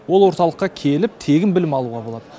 ол орталыққа келіп тегін білім алуға болады